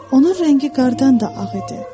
Onun rəngi qardan da ağ idi.